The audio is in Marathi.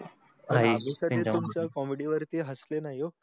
आधी तरी तुमच्या comedy वर हसले नाही ओ.